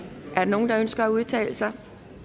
er der nogen der ønsker at udtale sig